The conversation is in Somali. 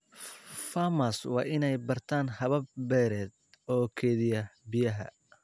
Farmers waa in ay bartaan habab beereed oo kaydiya biyaha.